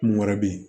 Mun wɛrɛ bɛ yen